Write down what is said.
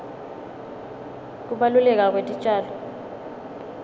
kubaluleka kwetitjalo